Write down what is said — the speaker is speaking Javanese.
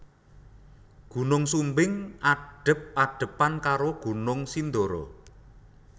Gunung Sumbing adhep adhepan karo Gunung Sindoro